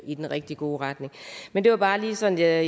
i den rigtig gode retning men det var bare sådan at